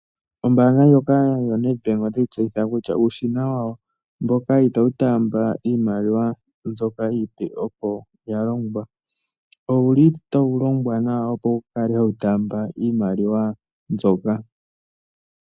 Ombaanga ndjoka yo NED BANK otayi tseyitha kutya uushina wawo itawu taamba iimaliwa mbyoka iipe opo ya longwa, owuli tawu longwa nawa opo wu kale hawu taamba iimaliwa mbyoka.